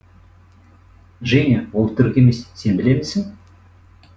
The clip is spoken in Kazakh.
женя ол түрік емес сен білемісің